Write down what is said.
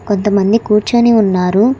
కొంతమంది కూర్చొని ఉన్నారు.